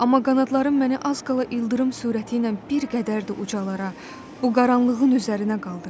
Amma qanadlarım məni az qala ildırım sürəti ilə bir qədər də ucalara, bu qaranlığın üzərinə qaldırır.